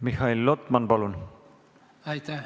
Mihhail Lotman, palun!